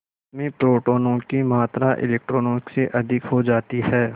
उसमें प्रोटोनों की मात्रा इलेक्ट्रॉनों से अधिक हो जाती है